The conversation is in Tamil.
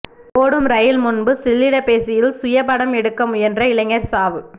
ஓடும் ரயில் முன்பு செல்லிடப்பேசியில் சுயபடம் எடுக்க முயன்ற இளைஞா் சாவு